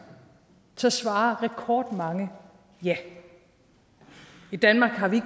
så svarer rekordmange ja i danmark har vi